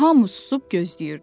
Hamı susub gözləyirdi.